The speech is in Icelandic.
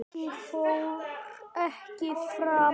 Ég fór ekki fram.